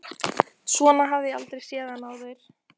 Svona hafði ég aldrei séð hann áður.